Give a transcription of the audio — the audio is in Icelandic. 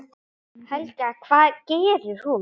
Helga: Hvað gerir hún?